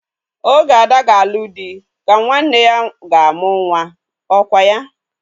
Oge Ada ga-alụ di ka nwanne ya ga-amụ nwa. Ọ kwa ya?